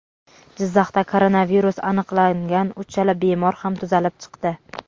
Jizzaxda koronavirus aniqlangan uchala bemor ham tuzalib chiqdi.